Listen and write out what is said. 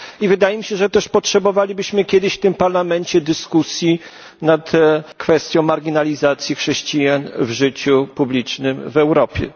I wydaje mi się, że też potrzebowalibyśmy kiedyś w tym Parlamencie dyskusji nad kwestią marginalizacji chrześcijan w życiu publicznym w Europie.